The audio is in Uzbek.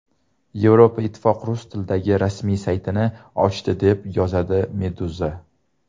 Yevroittifoq rus tilidagi rasmiy saytini ochdi, deb yozadi Meduza.